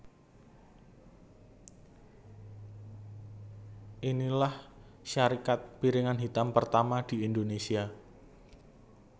Inilah syarikat piringan hitam pertama di Indonesia